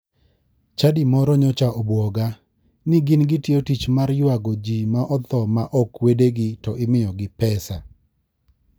Chadi moro nyocha obwoga, ni gin gitiyo tich mar ywago ji ma otho ma ok wedegi to imiyogi pesa .